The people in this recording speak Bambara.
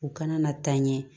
U kana na taa ɲɛ